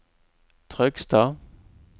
Trøgstad